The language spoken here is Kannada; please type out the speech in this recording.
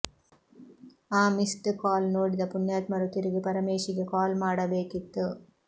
ಆ ಮಿಸ್ಡ್ ಕಾಲ್ ನೋಡಿದ ಪುಣ್ಯಾತ್ಮರು ತಿರುಗಿ ಪರಮೇಶಿಗೆ ಕಾಲ್ ಮಾಡಬೇಕಿತ್ತು